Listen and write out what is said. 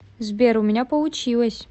сбер у меня получилось